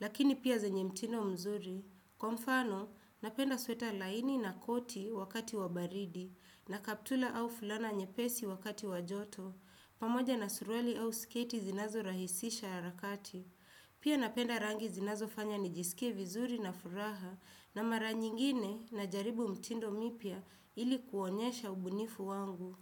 lakini pia zenye mtindo mzuri. Kwa mfano, napenda sweta laini na koti wakati wa baridi, na kaptula au fulana nyepesi wakati wa joto, pamoja na suruali au sketi zinazorahisisha harakati. Pia napenda rangi zinazofanya nijisikie vizuri na furaha, na mara nyingine najaribu mitindo mipya ili kuonyesha ubunifu wangu.